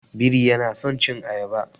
Biri yana son cin ayaba.